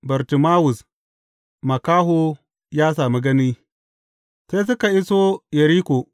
Bartimawus makaho ya sami gani Sai suka iso Yeriko.